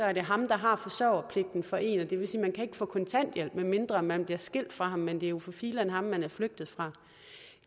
er det ham der har forsørgerpligten for en og det vil sige man kan få kontanthjælp medmindre man bliver skilt fra ham men det er jo for filan ham man er flygtet fra